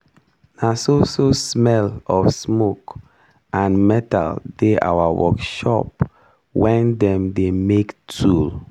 na so so smell of smoke and metal dey our workshop wen dem dey make tool.